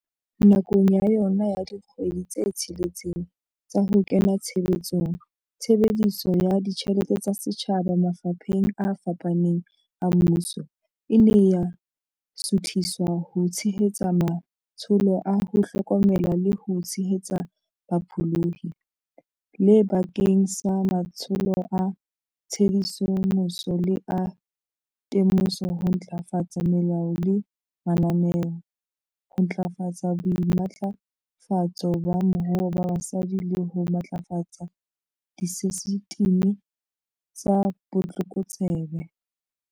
Nakong ya yona ya dikgwedi tse tsheletseng tsa ho kena tshebetsong, tshebediso ya ditjhelete tsa setjhaba mafapheng a fapaneng a mmuso e ne ya suthiswa ho tshe-hetsa matsholo a ho hlokomela le ho tshehetsa bapholohi, le bakeng sa matsholo a tshedimoso le a te-moso, ho ntlafatsa melao le mananeo, ho ntlafatsa boimatlafatso ba moruo ba basadi le ho matlafatsa disesitimi tsa botlokotsebe.